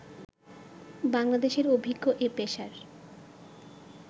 বাংলাদেশের অভিজ্ঞ এ পেসার